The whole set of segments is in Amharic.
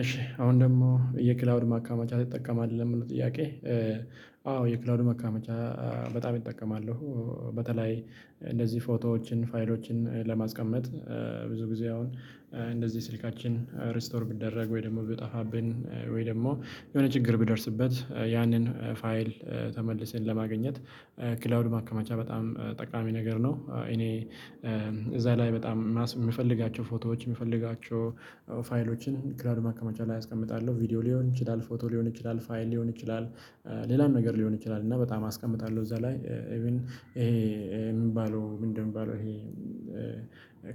እሺ አሁን ደግሞ የክላውድ ማከመቻ ትጠቀማለህ? ለሚለው ጥያቄ አዎ የክላውዱ ማከመቻ በጣም እጠቀማለሁ በተለይ እንደዚህ ፎቶዎችን፣ ፋይሎችን ለማስቀመጥ ብዙ ጊዜ አሁን እንደዚህ ስልካችን ሬስቶር ቢደረግ ወይ ደግሞ ብጠፋብን ወይ ደግሞ የሆነ ችግር ቢደርስበት ያንን ፋይል ተመልሰን ለማግኘት ክላውድ ማከማቻ በጣም ጠቃሚ ነገር ነው። እኔ እዛ ላይ በጣም ማስ የምፈልጋቸው ፎቶዎች፣ የምፈልጋቸው ፋይሎችን ክላዉድ ማከመቻ ላይ አስቀምጣለሁ። ቪዲዮ ሊሆን ይችላል፣ ፎቶ ሊሆን ይችላል፣ ፋይል ሊሆን ይችላል፣ ሌላም ነገር ሊሆን ይችላል እና በጣም አስቀምጣለሁ እዛ ላይ ኢቭን ይሄ የምባለው ምንድነው የምባለው ይሄ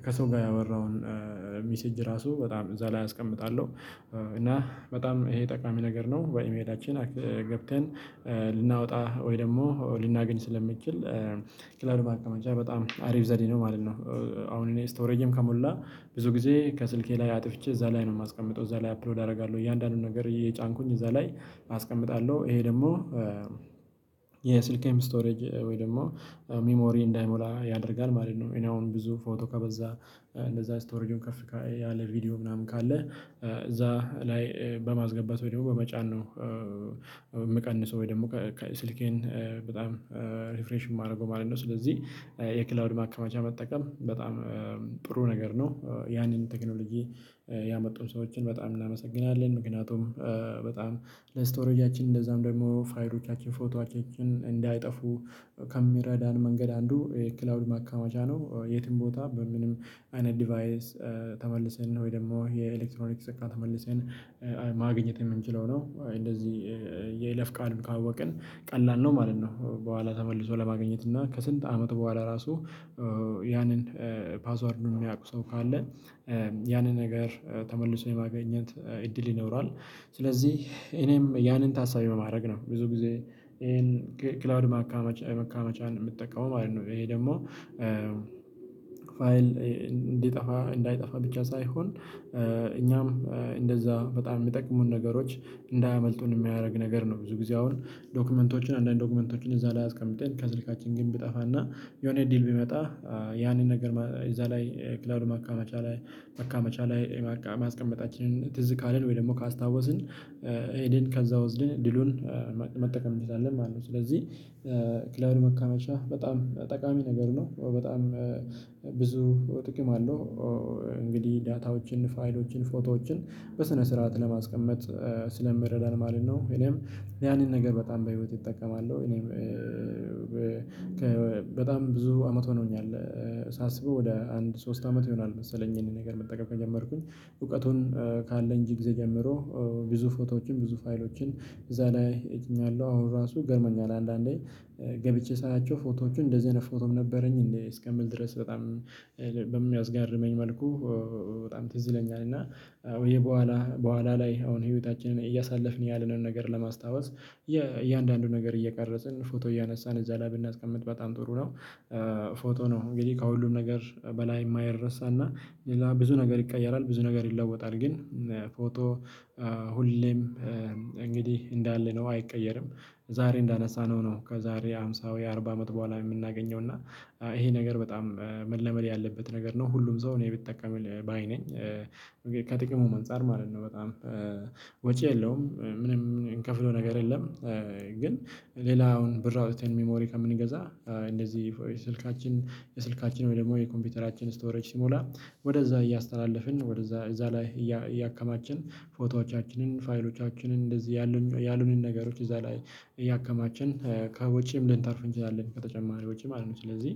ከሰው ጋር ያወራውን ሚሴጅ ራሱ በጣም እዛ ላይ አስቀምጣለሁ። እና በጣም ይሄ ጠቃሚ ነገር ነው። በኢሜላችን ገብተን ልናወጣ ወይ ደግሞ ልናገኝ ስለምንችል ክላዉድ ማስቀመጫ በጣም አሪፍ ዘዴ ነው ማለት ነው። አሁን እኔ ስቶሬጄም ከሞላ ብዙ ጊዜ ከስልኬ ላይ አጥፍቼ እዛ ላይ ነው የማስቀምጠው። እዛ ላይ አፕሎድ አደርጋለሁ እያንዳንዱን ነገር እየጫንኩኝ እዛ ላይ አስቀምጣለሁ፤ ይሄ ደግሞ ስቶሬጅ ወይ ደግሞ ሚሞሪ እንዳይሞላ ያደርጋል ማለት ነው። እኔ አሁን ብዙ ፎቶ ከበዛ እንደዛ ስቶሬጅም ከፍ ያለ ቪዲዮ ምናምን ካለ እዛ ላይ በማስገባት ወይም በመጫን ነው የምቀንሰው ወይ ደግሞ ስልኬን በጣም ሪፍሬሽን የማደርገው ማለት ነው፤ ስለዚህ የክላውድ ማከማቻ መጠቀም በጣም ጥሩ ነገር ነው። ያንን ቴክኖሎጂ ያመጡን ሰዎችን በጣም እናመሰግናለን፤ ምክንያቱም በጣም ለስቶሬጃያችን እንደዛም ደግሞ ፋይሎቻችን፣ ፎቶአችንን እንዳይጠፉ ከሚረዳን መንገድ አንዱ ክላውድ ማካመጃ ነው። የትም ቦታ በምንም አይነት ዲቫይስ ተመልሰን ነው ወይ ደግሞ የኤሌክትሮኒክስ እቃ ተመልሰን ማግኘት የምንችለው ነው እንደዚህ የይለፍ ቃሉን ካወቅን ቀላል ነው ማለት ነው፤ በኋላ ተመልሶ ለማግኘት እና ከስንት አመቱ በኋላ ራሱ ያንን ፓስዋርዱን የሚያውቁ ሰው ካለ ያንን ነገር ተመልሶ የማግኘት እድል ይኖራል፤ ስለዚህ እኔም ያንን ታሳቢ ማድረግ ነው ብዙ ጊዜ ይሄን ክላዉድ መካመቻ መካመቻን የምትጠቀመው ማለት ነው። ይሄ ደግሞ ፋይል እንዲጠፋ እንዳይጠፋ ብቻ ሳይሆን እኛም እንደዛ በጣም የሚጠቅሙን ነገሮች እንዳያመልጡን የሚያደርግ ነገር ነው። ብዙ ጊዜ አሁን ዶክመንቶችን አንዳንድ ዶክመንቶችን እዛ ላይ አስቀምጠን ከስልካችን ግን ብጠፋና የሆነ እድል ቢመጣ ያንን ነገር እዛ ላይ ክላይድ ማከመቻ ላይ ማካመቻ ላይ ማስቀመጣችን ትዝ ካለን ወይ ደግሞ ካስታወስን ሄደን ከዛ ወስደን እድሉን መጠቀም እንችላለን ማለት ነው፤ ስለዚህ ክላዉድ መከመቻ በጣም ጠቃሚ ነገር ነው። በጣም ብዙ ጥቅም አለው። እንግዲህ ዳታዎችን፣ ፋይሎችን፣ ፎቶዎችን በስነ ስርዓት ለማስቀመጥ ስለምረዳን ማለት ነው። እኔም ያንን ነገር በጣም በህይወቴ እጠቀማለሁ እኔም በጣም ብዙ አመት ሆኖኛል ሳስበው ወደ አንድ ሶስት አመት ይሆናል መሰለኝ ይሄንን ነገር መጠቀም ከጀመርኩኝ እውቀቱን ካለ እንጂ ጊዜ ጀምሮ ብዙ ፎቶዎችን፣ ብዙ ፋይሎችን እዛ ላይ ጭኛለሁ። አሁን ራሱ ይገርመኛል አንዳንዴ ገብቼ ሳያቸው ፎቶዎቹን እንደዚህ አይነት ፎቶም ነበረኝ እስከምል ድረስ በጣም በሚያስጋርመኝ መልኩ በጣም ትዝ ይለኛል፤ እና ወይ በኋላ በኋላ ላይ አሁን ህይወታችንን እያሳለፍን ያለንን ነገር ለማስታወስ እያንዳንዱን ነገር እየቀረጽን ፎቶ እያነሳን እዛ ላይ ብናስቀምጥ በጣም ጥሩ ነው። ፎቶ ነው እንግዲህ ከሁሉም ነገር በላይ የማይረሳና ሌላ ብዙ ነገር ይቀያራል፣ ብዙ ነገር ይለወጣል ግን ፎቶ ሁሌም እንግዲህ እንዳለ ነው አይቀየርም ዛሬ እንዳነሳነው ነው ከዛሬ ሃምሳ ወይ አርባ አመት በኋላ የምናገኘው እና ይሄ ነገር በጣም መለመድ ያለበት ነገር ነው ሁሉም ሰው እኔ ቢጠቀም ባይ ነኝ። ከጥቅሙም አንፃር ማለት ነው በጣም ወጪ የለውም ምንም ምንከፍለው ነገር የለም ግን ሌላውን ብር አውጥተን ሚሞሪ ከምንገዛ እንደዚህ ስልካችን የስልካችን ወይ ደግሞ የኮምፒውተራችን ስቶሬጅ ሲሞላ ወደዛ እያስተላለፍን ወደዛ እዛ ላይ እያከማቸን ፎቶዎቻችንን፣ ፋይሎቻችንን እንደዚህ ያሉንን ነገሮች እዛ ላይ እያከማችን ከወጪም ልንተርፍ እንችላለን ከተጨማሪ ውጪ ማለት ነው ስለዚህ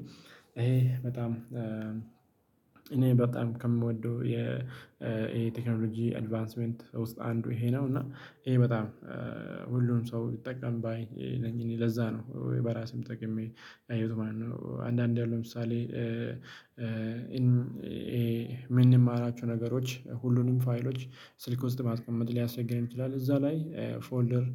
ይሄ በጣም እኔ በጣም ከምወደው የቴክኖሎጂ አድቫንስመንት ውስጥ አንዱ ይሄ ነው እና ይሄ በጣም ሁሉም ሰው ቢጠቀም ባይ ነኝ እኔ ለዛ ነው ወይ በራሴም ተጠቅሜ ያየሁት ማለት ነው። አንዳንድ ያለው ለምሳሌ የምንማራችሁ ነገሮች ሁሉንም ፋይሎች ስልክ ውስጥ ማስቀመጥ ሊያስቸግረን ይችላል እዛ ላይ ፎልደር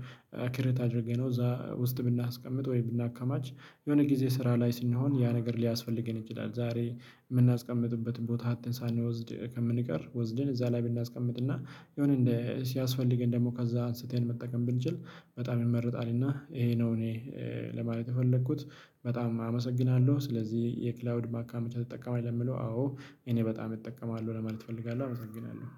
ክሬት አድርገነው እዛ ውስጥ ብናስቀምጥ ወይ ብናካማች የሆነ ጊዜ ስራ ላይ ስንሆን ያ ነገር ሊያስፈልገን ይችላል ዛሬ የምናስቀምጥበትን ቦታ አተን ሳንወስድ ከምንቀር ወስደን እዛ ላይ ብናስቀምጥና የሆነ እንደ ሲያስፈልገን ደግሞ ከዛ አንስተን መጠቀም ብንችል በጣም ይመርጣልና ይሄ ነው እኔ ለማለት የፈለኩት በጣም አመሰግናለሁ፤ ስለዚህ የክላውድ ማከማቻ ትጠቀማለህ? ለሚለው አዎ እኔ በጣም እጠቀማለሁ ለማለት እፈልጋለሁ አመሰግናለሁ።